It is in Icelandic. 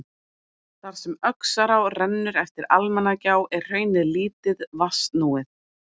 Þar sem Öxará rennur eftir Almannagjá er hraunið lítið vatnsnúið.